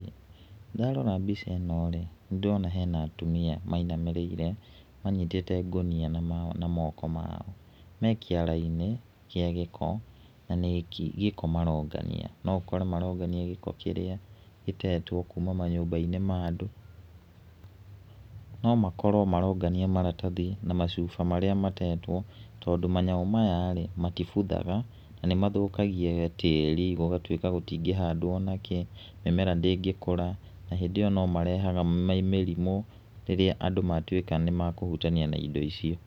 Ndarora mbica ĩno rĩ, nĩ ndĩrona hena atumia mainamĩrĩire, manyitĩte ngũnia na moko mao. Me kĩara-inĩ kĩa gĩko, na nĩ gĩko marongania. No ũkore marongania gĩko kíĩíĩ gĩtetwo kuma mnyũmbai-inĩ ma andũ. No makorwo marongania maratathi na macuba marĩa matetwo, tondũ manyamũ maya rĩ, matibuthaga na nĩ mathũkagia tĩri, gũgatuĩka gũtingĩ handwo ona kĩ, mĩmera ndĩngĩkũra, na hĩndĩ ĩyo no marehaga mĩrimũ rĩrĩa andũ matuĩka nĩ makũhutania na indo icio.